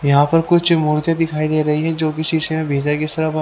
यहां पर कुछ मूर्ति दिखाई दे रही है जो कि शीशे में इस तरफ--